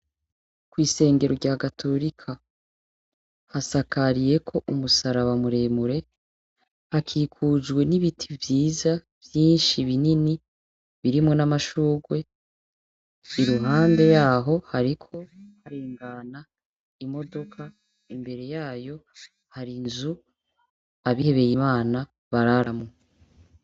Kw'isengero rya katorika hasakariyeko umusaraba muremure, hakikujwe n'ibiti vyiza vyinshi bini birimwo n'amashurwe ,iruhande yaho hariko harengana imodoka imbere yayo har'inzu abihebey'Imana bararamwo.